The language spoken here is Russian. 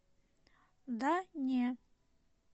да не